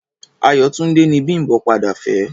Ayọ̀túndé ni Bím̀bọ́ padà fẹ́.